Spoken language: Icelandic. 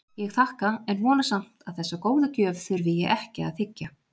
Ég þakka en vona samt að þessa góðu gjöf þurfi ég ekki að þiggja.